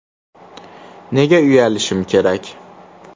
Nega uyalishim kerak?!